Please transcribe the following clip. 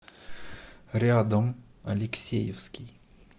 рядом алексеевский